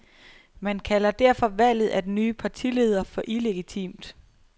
Man kalder derfor valget af den nye partileder for illegitimt.